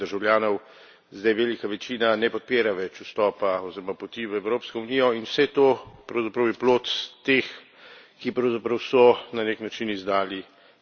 Zdaj velika večina ne podpira več vstopa oziroma poti v Evropsko unijo, in vse to je pravzaprav plod teh, ki so na nek način izdali zaupanje.